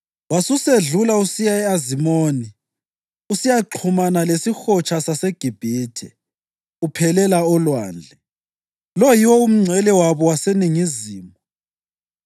Wasusedlula usiya e-Azimoni usiyaxhumana lesiHotsha saseGibhithe, uphelela olwandle. Lo yiwo umngcele wabo waseningizimu.